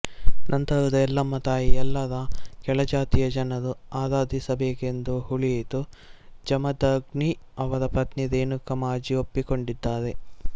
ನಂತರದ ಎಲ್ಲಮ್ಮ ತಾಯಿ ಎಲ್ಲಾ ರ ಕೆಳಜಾತಿಯ ಜನರು ಆರಾಧಿಸಬೇಕೆಂದು ಉಳಿಯಿತು ಜಮದಗ್ನಿ ಅವರ ಪತ್ನಿ ರೇಣುಕಾ ಮಾಜಿ ಒಪ್ಪಿಕೊಂಡಿದ್ದಾರೆ